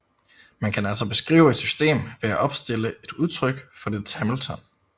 Man kan altså beskrive et system ved at opstille et udtryk for dets Hamilton